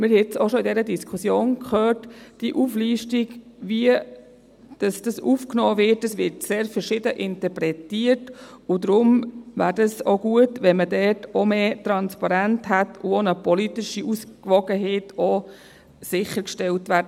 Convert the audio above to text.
Wir haben es auch in dieser Diskussion gehört: Was aufgenommen wird, wird sehr verschieden interpretiert, und deshalb wäre es gut, wenn man mehr Transparenz hätte und auch die politische Ausgewogenheit damit sichergestellt würde.